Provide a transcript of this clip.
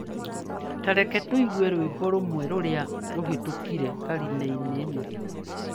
Ta reke tũigue rwĩmbo rũmwe rũrĩa rũhĩtũkire karine-inĩ ĩno.